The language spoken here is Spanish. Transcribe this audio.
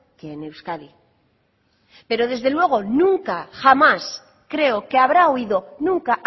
que en euskadi pero desde luego nunca jamás creo que habrá oído nunca